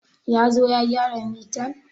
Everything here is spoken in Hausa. Ya zo ya gyara mitan?